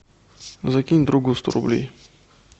закинь другу сто рублей